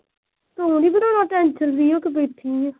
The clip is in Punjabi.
ਤੂੰ ਨੀ ਬਣਾਉਣਾ tension free ਹੋ ਕੇ ਬੈਠੀ।